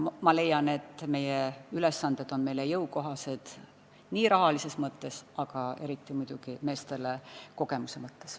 Ma leian, et need ülesanded on meile rahalises mõttes jõukohased, aga eriti kasulik on see muidugi meestele kogemuse mõttes.